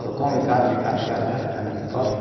Só come carne, carne, carne, carne, carne que é forte.